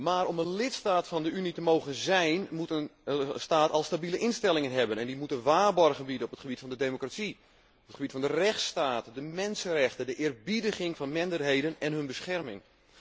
Maar om een lidstaat van de Unie te mogen zijn, moet een staat al stabiele instellingen hebben, en die moeten waarborgen bieden op het gebied van de democratie, de rechtsstaat, de mensenrechten, de eerbiediging van minderheden en hun bescherming.